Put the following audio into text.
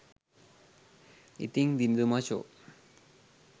ඉතිං දිනිදු මචෝ